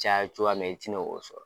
Caya cogoya min i ti na o sɔrɔ.